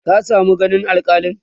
ka samu ganin alkalin?